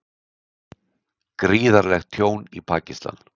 Gríðarlegt tjón í Pakistan